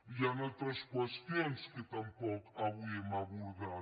i hi han altres qüestions que tampoc avui hem abor·dat